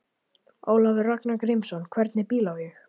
Ólafur Ragnar Grímsson: Hvernig bíl á ég?